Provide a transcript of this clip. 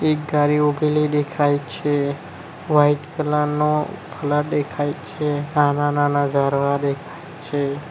એક ગારી ઉભેલી દેખાય છે વાઈટ કલર નો ફ્લેટ દેખાય છે નાના નાના ઝારવા દેખાય છે.